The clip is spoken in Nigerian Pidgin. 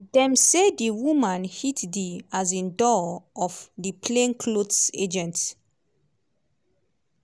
dem say di woman hit di um door of di plain clothes agents